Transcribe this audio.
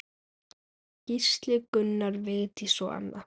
Gísli, Gunnar, Vigdís og Anna.